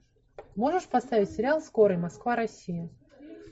можешь поставить сериал скорый москва россия